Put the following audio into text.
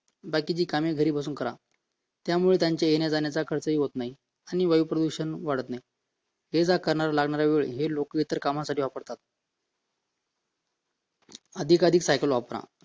बाकीचे कामे घरी बसून करा त्यामुळे त्यांचा येण्या-जाण्याचा खर्च देखील होत नाही आणि वायू प्रदूषण वाढत नाही एजा करणारा कामाचा वेळ हे लोक इतर कामासाठी वापरतात अधिकाधिक सायकल वापरा